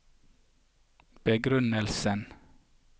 begrunnelsen